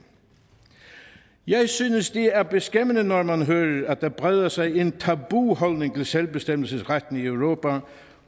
jeg synes det er beskæmmende når man hører at der breder sig et tabu omkring selvbestemmelsesretten i europa